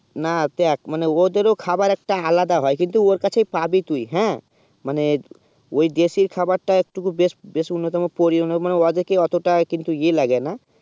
না দেখ মানে ও দেরো খাবার একটা আলাদা হয়ে কিন্তুন ওর কাছে পাবি তুই হেঁ মানে ঐই দেশে খাবা তা একটুকু বেশি উন্নত পরিয়ন মানে ওজায়ে অটো তা এই লাগে না